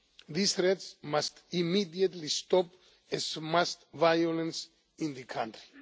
These threats must immediately stop, as must violence in the country.